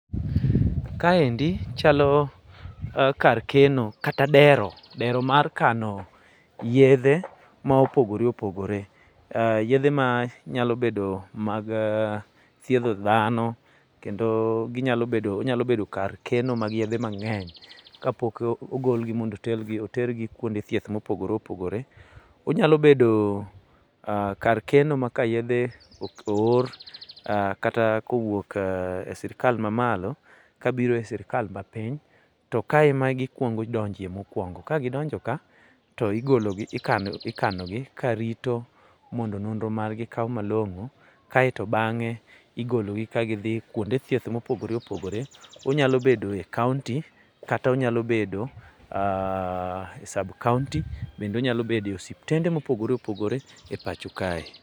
Kaendi chalo kar keno kata dero , dero mar kano yedhe ma opogoreopogore. Yedhe manyalo bedo mag thiedho dhano kendo ginyalo bedo ,onyalo bedo kar keno mag yedhe mang'eny ka pok ogolgi mondo otergi kuonde thieth ma opogoreopogore .Onyalo bedo kar keno ma ka yedhe oor kata kowuok e sirkal ma malo kabiro e sirkal mapiny, to ka ema gikwongo donje mokwongo. Ka gidonjo ka, to igologi ikanogi karito mondo nonro margi okaw malong'o, kaito bang'e igologi ka gidhi kuonde thieth mopogoreopogore. Onyalo bedo e county kata onyalo bedo e sub county, bende onyalo bedo e osiptende mopogoreopogore e pacho kae.